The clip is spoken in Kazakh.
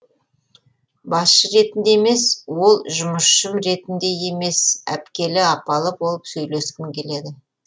басшы ретінде емес ол жұмысшым ретінде емес әпкелі апалы болып сөйлескім келеді